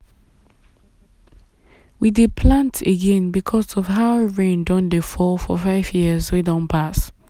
we dey plant again because of how rain don dey fall for five years wey don pass.